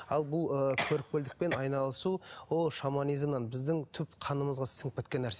ал бұл ы көріпкелдікпен айналысу ол шаманизмнан біздің түп қанымызға сіңіп кеткен нәрсе